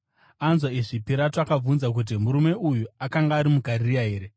Anzwa izvi, Pirato akabvunza kuti murume uyu akanga ari muGarirea here.